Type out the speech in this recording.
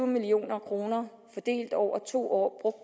million kroner over to år